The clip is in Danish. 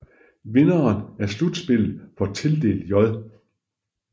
Vinderen af slutspillet får tildelt J